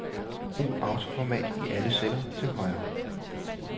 Brug autoformat i alle celler til højre.